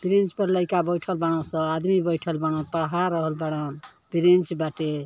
bench पर लाइका बईठल बाड़सन आदमी ब‌ईठल बान पढ़ा रहल बान ब्रेंच